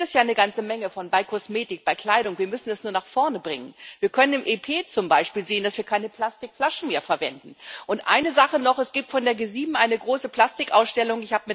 Davon gibt es ja eine ganze Menge bei Kosmetik, bei Kleidung wir müssen es nur nach vorne bringen. Wir können im Europäischen Parlament zum Beispiel zusehen, dass wir keine Plastikflaschen mehr verwenden. Eine Sache noch Es gibt von der G7 noch eine große Plastikausstellung.